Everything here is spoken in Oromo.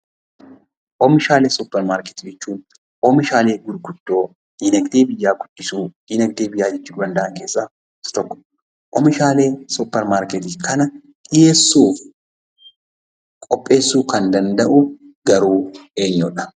Oomishaalee suppermaarketii jechuun oomishaalee gurguddoo diinagdee biyyaa guddisuu, diinagdee biyyaa jijjiiruu danda'an keessaa isa tokko. Oomishaalee suppermaarketii kana dhiyeessuu fi qopheessuu kan danda'u garuu eenyuu dha?